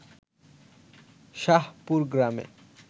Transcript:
শাহপুর গ্রামে